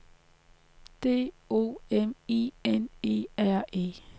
D O M I N E R E